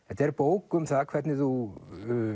þetta er bók um það hvernig þú